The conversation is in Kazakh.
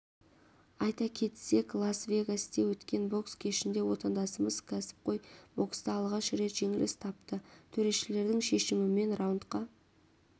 айта кетсек лас-вегаста өткен бокс кешінде отандасымыз кәсіпқой бокста алғаш рет жеңіліс тапты төрешілердің шешімімен раундқа